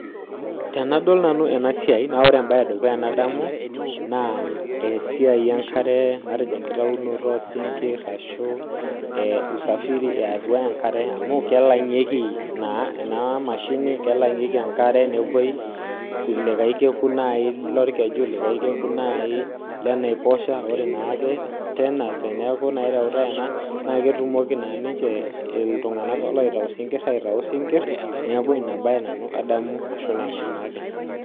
tenadal ena siai naa kadomu esiai e nkare enaa enkitayunoto oosinkir welangata enkare sii nepoi naaji likae kekun enaiposha nitayu isinkir neeku ina baye nanu aitadamu ena baye tenadol ena